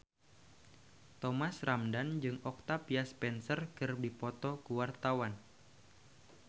Thomas Ramdhan jeung Octavia Spencer keur dipoto ku wartawan